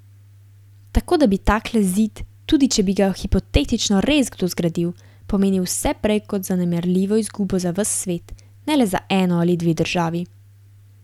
Tako da bi takle zid, tudi če bi ga hipotetično res kdo zgradil, pomenil vse prej kot zanemarljivo izgubo za ves svet, ne le za eno ali dve državi.